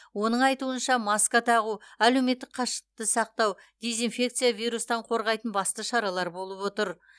оның айтуынша маска тағу әлеуметтік қашықтықты сақтау дезинфекция вирустан қорғайтын басты шаралар болып отыр